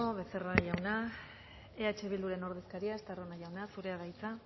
becerra jauna eh bilduren ordezkaria estarrona jauna zurea da hitza